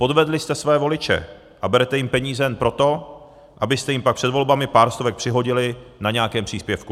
Podvedli jste své voliče a berete jim peníze jen proto, abyste jim pak před volbami pár stovek přihodili na nějakém příspěvku.